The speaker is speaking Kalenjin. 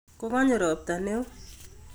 Kokonyo ropta neo